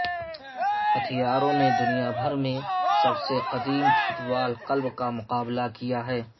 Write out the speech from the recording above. ہتھیاروں نے دنیا بھر میں سب سے قدیم فٹ بال کلب کا مقابلہ کیا ہے